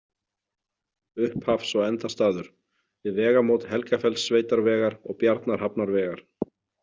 Upphafs- og endastaður: Við vegamót Helgafellssveitarvegar og Bjarnarhafnarvegar.